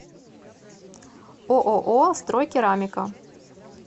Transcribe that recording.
ооо стройкерамика